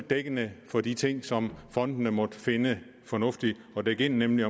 dækkende for de ting som fondene måtte finde fornuftige at dække ind nemlig